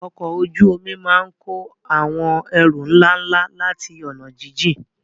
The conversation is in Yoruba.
Ọkọ̀ ojú omi máa ń kó àwọn ẹrù ńlá ńlá láti ọ̀nà jíjìn.